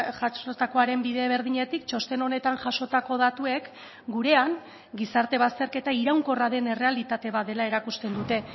jasotakoaren bide berdinetik txosten honetan jasotako datuek gurean gizarte bazterketa iraunkorra den errealitate bat dela erakusten dute